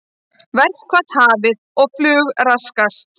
Verkfall hafið og flug raskast